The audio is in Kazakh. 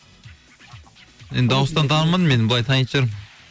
енді дауыстан танымадым енді былай танитын шығармын